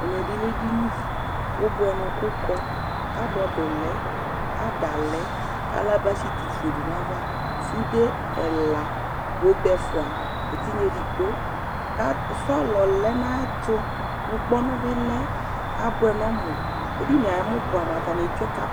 ɛmɛ bi lɛ edini, ubʋɛnu ku kɔ, kabɔd lɛ, ada lɛ , kala basiti fue du nu ayava, sude ɛla obe ɛfʋa, etigna edigbo, ka sɔlɔ lɛ nu ayɛtu, ŋkpɔnu bi lɛ, ka bʋɛ nu ɔmu, edinie ayɛmu bʋɛ nu amu ata ni etsʋe kapɛt